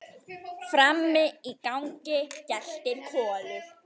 Frammi í gangi geltir Kolur.